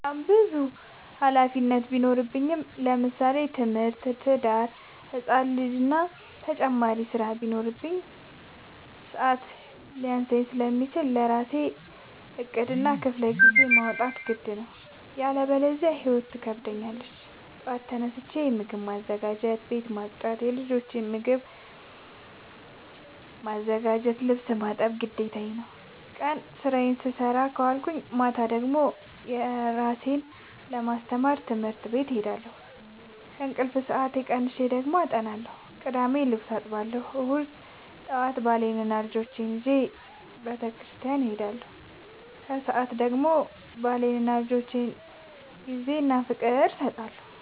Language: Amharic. በጣም ብዙ ሀላፊነት ቢኖርብኝ ለምሳሌ፦ ትምህርት፣ ትዳር፣ ህፃን ልጂ እና ተጨማሪ ስራ ቢኖርብኝ። ሰዐት ሊያንሰኝ ስለሚችል ለራሴ ዕቅድ እና ክፍለጊዜ ማውጣት ግድ ነው። ያለበዚያ ህይወት ትከብደኛለች ጠዋት ተነስቼ ምግብ ማዘጋጀት፣ ቤት መፅዳት የልጆቼን ልብስ ማጠብ ግዴታ ነው። ቀን ስራዬን ስሰራ ከዋልኩኝ ማታ ደግሞ እራሴን ለማስተማር ትምህርት ቤት እሄዳለሁ። ከእንቅልፌ ሰአት ቀንሼ ደግሞ አጠናለሁ ቅዳሜ ልብስ አጥባለሁ እሁድ ጠዋት ባሌንና ልጆቼን ይዤ በተስኪያን እሄዳለሁ። ከሰዓት ደግሞ ለባሌና ለልጆቼ ጊዜ እና ፍቅር እሰጣለሁ።